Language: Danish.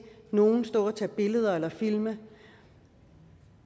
nogen stå og tage billeder eller filme